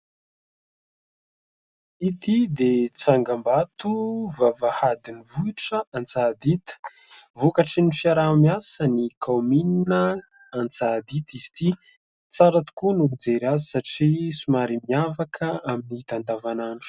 Ity dia tsangam-bato vavahadin'ny vohitra Antsahandita, vokatry ny fiaraha-miasan'ny kaominina Antsahandita izy ity, tsara tokoa ny mijery azy satria somary miavaka amin'ny hita andavan'andro.